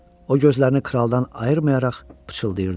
O gözlərini kraldan ayırmayaraq pıçıldayırdı.